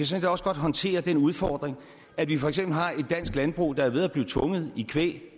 set også godt håndtere den udfordring at vi for eksempel har et dansk landbrug der er ved at blive tvunget i knæ